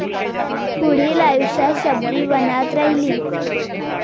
पुढील आयुष्यात शबरी वनात राहिली